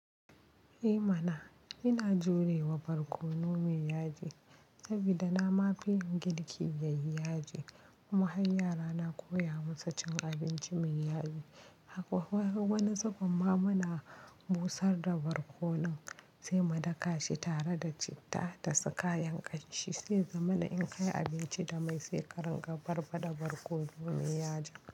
Eh mana! Ina jurewa barkono mai yaji saboda na mafi yin girki yayi yaji kuma har yara na koya musu cin abinci mai yaji. Akwai wani sakon ma muna busar da barkonon sai mu daka shi tare da citta da su kayan ƙanshi sai zamana in kai abinci da mai, sai karin ga barbada barkono mai yaji.